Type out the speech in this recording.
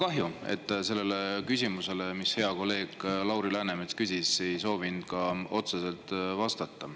Kahju, et te sellele küsimusele, mille hea kolleeg Lauri Läänemets esitas, ei soovinud otseselt vastata.